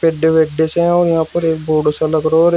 हैं और यहां पर एक बोर्ड सा लग रहा और ए--